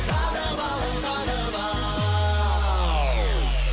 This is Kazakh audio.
танып ал танып ал